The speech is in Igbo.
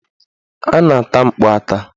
A na-ata mkpu ata.